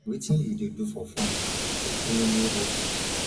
wetin you dey do for fun you get any new hobby